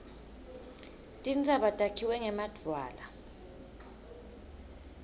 tintsaba takhiwe ngemadvwala